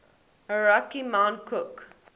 aoraki mount cook